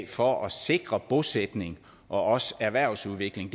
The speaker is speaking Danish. for at sikre bosætning og også erhvervsudvikling i